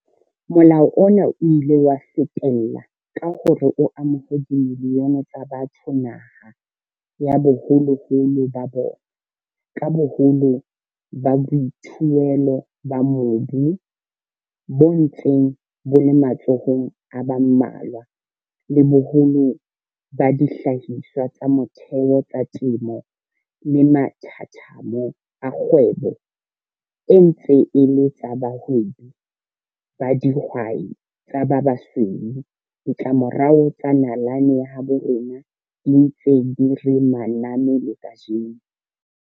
Molao ona o ile wa fetella ka hore o amohe dimilione tsa batho naha ya baholoholo ba bona. Ka boholo ba boithuelo ba mobu bo ntseng bo le matsohong a ba mmalwa, le boholo ba dihlahiswa tsa motheo tsa temo le mathathamo a kgwebo e ntse e le tsa bahwebi ba dihwai tsa ba basweu, ditlamorao tsa nalane ya habo rona di ntse di re maname le kajeno.